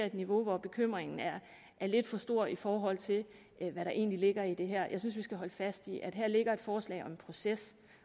et niveau hvor bekymringen er lidt for stor i forhold til hvad der egentlig ligger i det her jeg synes at vi skal holde fast i at der her ligger et forslag om en proces